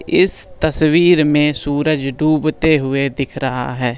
इस तस्वीर में सूरज डूबते हुए दिख रहा है।